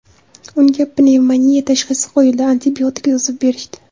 Unga pnevmoniya tashxisi qo‘yildi, antibiotik yozib berishdi.